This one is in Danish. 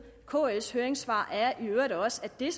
i kls høringssvar er i øvrigt også at det